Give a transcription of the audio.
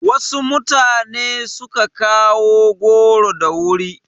Wasu mutane su ka kawo goro da wuri.